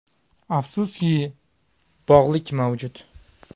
Afsuski, bog‘lik mavjud.